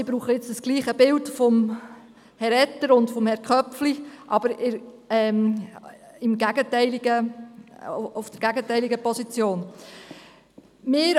Ich brauche das gleiche Bild von Herrn Etter und Herrn Köpfli, aber aus der gegenteiligen Position heraus.